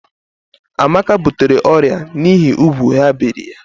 Amaka butere ọrịa n'ihi úgwù ha biri ya.